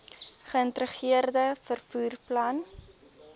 geïntegreerde vervoer plan